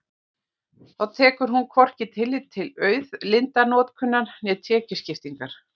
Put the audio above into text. Þá tekur hún hvorki tillit til auðlindanotkunar né tekjuskiptingar.